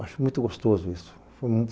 Acho muito gostoso isso.